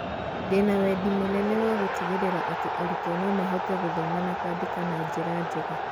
Ndĩ na wendi mũnene wa gũtigĩrĩra atĩ arutwo no mahote gũthoma na kwandĩka na njĩra njega